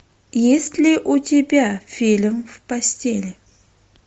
есть ли у тебя фильм в постели